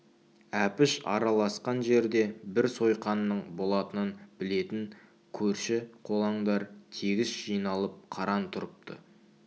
әпіш араласқан жерде бір сойқанның болатынын білетін көрші-қолаңдар тегіс жиналып қаран тұрыпты